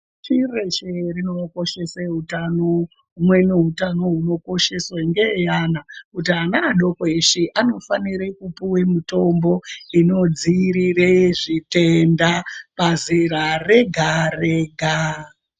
Pashi reshe rinokoshese utano humweni hutano hunokosheswa ngeaana kuti ana adoko eshe anofanire kupuwe mitombo inodzoirire zvitenda pazera Rega Rega.